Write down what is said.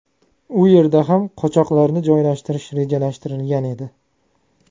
U yerda ham qochoqlarni joylashtirish rejalashtirilgan edi.